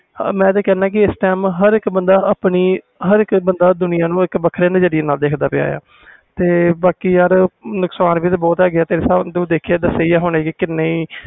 ਮੈਂ ਤੇ ਕਹਿਣਾ ਆ ਕਿ ਹਰ ਇਕ ਬੰਦਾ ਇਕ ਵੱਖਰੇ ਨਜ਼ਰੀਏ ਨਾਲ ਦੇਖ ਰਹੇ ਆ ਬਾਕੀ ਯਾਰ ਨੁਕਸਾਨ ਵੀ ਤੇ ਬਹੁਤ ਹੈ ਗਏ ਆ ਹੁਣੇ ਤੂੰ ਦੇਖਿਆ ਦਸਿਆ ਹੀ